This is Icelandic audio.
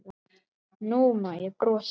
Nú má ég brosa.